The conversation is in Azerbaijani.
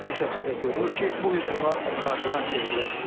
Aydın şəkildə görünür ki, bu hücumlar koordinasiya edilib.